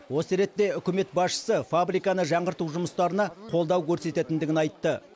осы ретте үкімет басшысы фабриканы жаңғырту жұмыстарына қолдау көрсететіндігін айтты